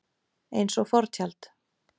Eins og fortjald.